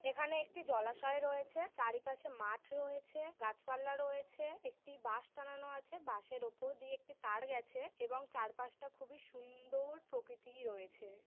এখানে একটি জলাশয় রয়েছে। চারিপাশে মাঠ রয়েছে। গাছপালা রয়েছে একটি বাঁশ টানানো আছে। বাঁশের উপর দিয়ে একটি তার গেছে এবং চারপাশটা খুবই সু -উন্দর প্রকৃতি রয়েছে ।